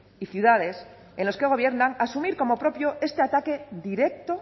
pueblos y ciudades en las que gobiernan asumir como propio este ataque